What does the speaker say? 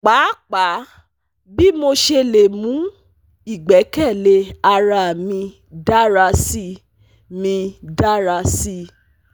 Paapaa bii mo ṣe le mu igbẹkẹle ara mi dara si mi dara si